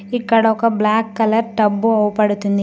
ఇక్కడ ఒక black colour tub అవుపడుతుంది .